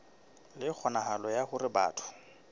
le kgonahalo ya hore batho